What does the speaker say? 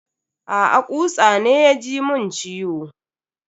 Aa, kutsa ne ya ji mun ciwo.